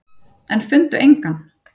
En fundu engan.